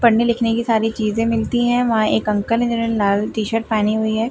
पढ़ने लिखने की सारी चीजें मिलती हैं वहां एक अंकल है जिन्होंने लाल टी-शर्ट पहनी हुई है।